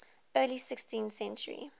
early sixteenth century